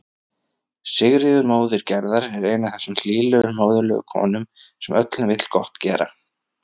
Sigríður móðir Gerðar er ein af þessum hlýlegu móðurlegu konum sem öllum vill gott gera.